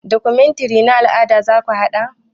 Documentary na al'ada zaku haɗa?